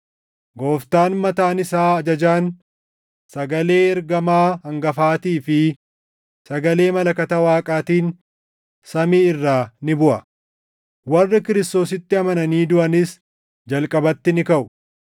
Gooftaan mataan isaa ajajaan, sagalee ergamaa hangafaatii fi sagalee malakata Waaqaatiin samii irraa ni buʼa; warri Kiristoositti amananii duʼanis jalqabatti ni kaʼu.